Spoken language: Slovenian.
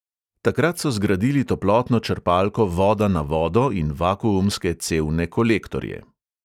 Takrat so zgradili toplotno črpalko voda na vodo in vakuumske cevne kolektorje.